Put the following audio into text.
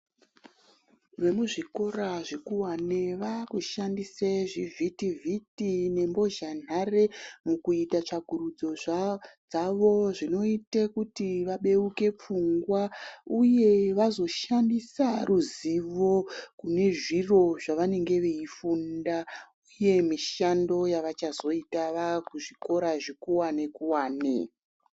Vemuzvikora zvekuwane vakushandise zvivhiti vhiti nembozhanhare mukuita tsvakurudzo dzavo zvinoita kuti vabeuke pfungwa uye vazoshandisa ruzivo kune zviro zvavanenge veifunda uye mishando yavachazoita vaakuzvikora zvekuwane kuwane.